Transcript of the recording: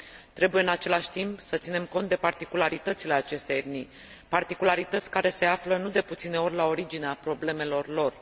Trebuie, în același timp, să ținem cont de particularitățile acestei etnii, particularități care se află, nu de puține ori, la originea problemelor lor.